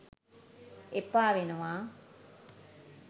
එපා වෙනවා